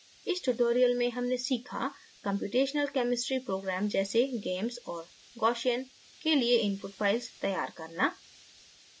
इस tutorial में हमने सीखा कम्प्यूटेशनल chemistry programmes जैसे gamess और gaussian के लिए input files तैयार करना